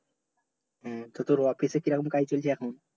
হ্যাঁ তোর office কি রকম কাজ চলছে এখন